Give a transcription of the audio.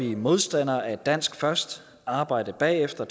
vi modstandere af dansk først arbejde bagefter